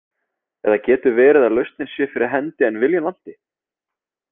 Eða getur verið að lausnin sé fyrir hendi en viljann vanti?